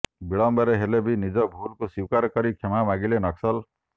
ବିଳମ୍ବରେ ହେଲେବି ନିଜ ଭୁଲକୁ ସ୍ୱୀକାର କରି କ୍ଷମା ମାଗିଲେ ନକ୍ସଲ